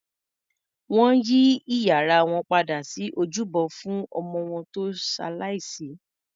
Wọn yí ìyàrá wọn padà sí ojúbọ fún ọmọ wọn tó ṣalàìsí